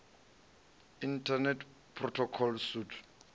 internet protocol suite